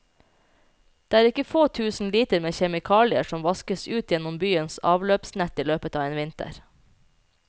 Det er ikke få tusen liter med kjemikalier som vaskes ut gjennom byens avløpsnett i løpet av en vinter.